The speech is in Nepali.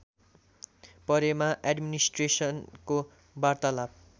परेमा एड्मिनिस्ट्रेटरको वार्तालाप